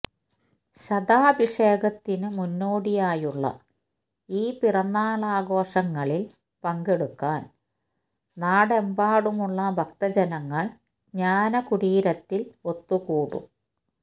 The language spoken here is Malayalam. ശതാഭിഷേകത്തിനു മുന്നോടിയായുള്ള ഈ പിറന്നാളാഘോഷങ്ങളില് പങ്കെടുക്കാന് നാടെമ്പാടുമുള്ള ഭക്തജനങ്ങള് ജ്ഞാനകുടീരത്തില് ഒത്തുകൂടും